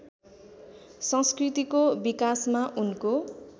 संस्कृतिको विकासमा उनको